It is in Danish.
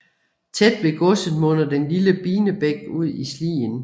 Tæt ved godset munder den lille Binebæk ud i Slien